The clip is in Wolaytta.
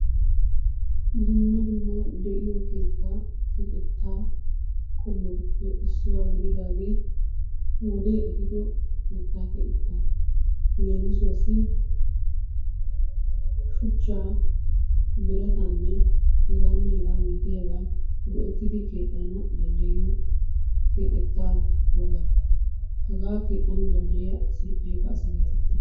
Dumma dumma de'iyo keetta keexxeta qommotuppe issuwa gididaage wode ehido keetta keexxeta, leemissuwassi shuchcha, biratanne heganne hega malatiyaaba go"ertidi keexxanaw danddayiyyo keexxeta woga. Haga danddiyiya asi aybbe getetti?a